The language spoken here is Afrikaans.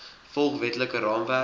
volg wetlike raamwerk